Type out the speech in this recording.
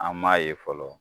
An m'a ye fɔlɔ.